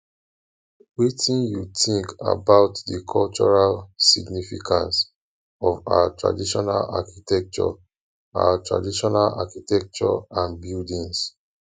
wetin you think about di cultural significance of our traditional architecture our traditional architecture and buildings